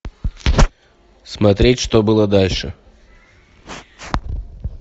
смотреть что было дальше